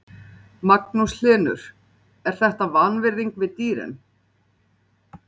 En eru einhver samskipti milli leikmanna unglingaliðsins og aðalliðsins?